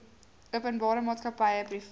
openbare maatskappy privaat